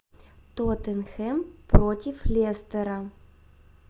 тоттенхэм против лестера